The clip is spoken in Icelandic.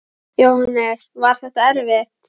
Jóhannes: Var þetta erfitt?